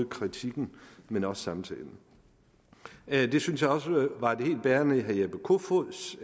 kritikken men også samtalen det synes jeg også var helt bærende i herre jeppe kofods